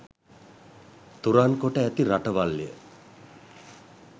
තුරන් කොට ඇති රටවල්ය.